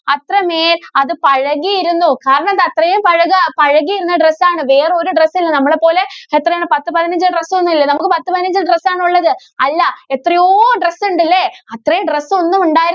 അത്രമേല്‍ അത് പഴകിയിരുന്നു. കാരണം എന്താ? അത്രേം പഴകാ, പഴകിയിരുന്ന dress ആണ്. വേറെ ഒരു dress ഇല്ല. നമ്മളെ പോലെ എത്രയാണ് പത്ത് പതിനഞ്ച് dress ഒന്നുമില്ല. നമ്മക്ക് പത്ത് പതിനഞ്ച് dress ആണുള്ളത്. അല്ല എത്രയോ dress ഉണ്ട്. അല്ലേ? അത്രയും dress ഒന്നും ഉണ്ടായി~